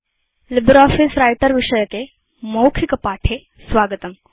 LibreOffice Writer विषयके spoken tutorialमध्ये स्वागतम्